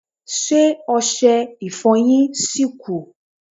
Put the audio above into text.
Ṣé ọsẹ Ìfọ̀yín ṣì kù